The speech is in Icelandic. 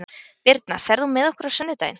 Birna, ferð þú með okkur á sunnudaginn?